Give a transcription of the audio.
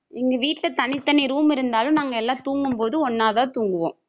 எங்க வீட்ல தனித்தனி room இருந்தாலும் நாங்க எல்லாம் தூங்கும் போது ஒண்ணா தான் தூங்குவோம்